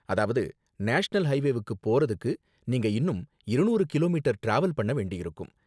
அதாவது நேஷனல் ஹைவேவுக்கு போறதுக்கு நீங்க இன்னும் இருநூறு கிலோமீட்டர் டிராவல் பண்ண வேண்டியிருக்கும்.